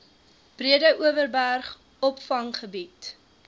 breede overberg opvanggebied